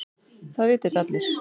Það vita þetta allir.